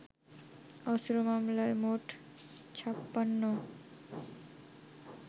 অস্ত্র মামলায় মোট ৫৬